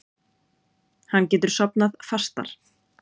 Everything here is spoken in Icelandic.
Hann getur sofnað fastar.